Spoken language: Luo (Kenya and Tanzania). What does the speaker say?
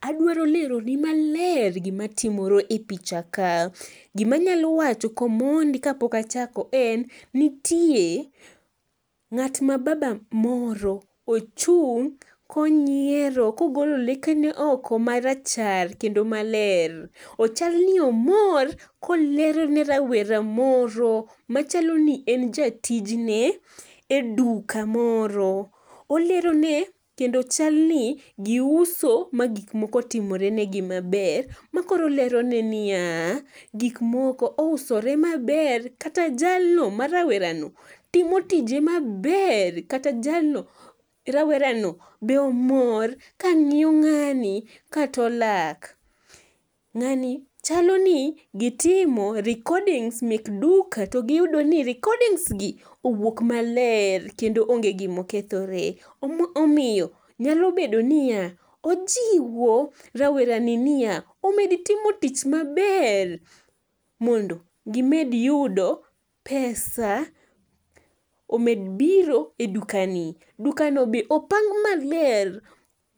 Adwaro leroni maler gima timore e pichaka, gimanyalo wacho komondi kapok achako en ,nitie ng'at ma baba moro, ochung' konyiero, kogolo lekene oko marachar, kendo maler, ochal ni omor kolero ne rawera moro machalo ni en jatijne eduka moro. Olerone kendo chal ni giuso ma gikmoko otimore negi maber, makoro olerone niya, gikmoko ousore maber, kata jalno marawerano timo tije maber, kata jalno rawerano be omor ka ng'iyo ng'ani kato lak. Ng'ani chalo ni gitimo recordings mek duka to giyudo ni recordings gi owuok maler kendo onge gimo kethore, omiyo nyalo bedo ni ya ,ojiwo rawerani niya, omera itimo tij maber mondo gimed yudo pesa omed biro e dukani. Dukano bende opang' maber